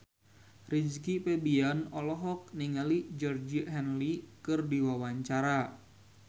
Rizky Febian olohok ningali Georgie Henley keur diwawancara